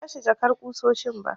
Ban bashi jakar ƙusoshin ba.